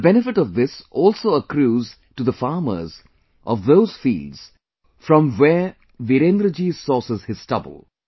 The benefit of thisalso accrues to the farmers of those fields from where Virendra ji sources his stubble